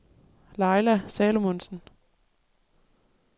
Laila Salomonsen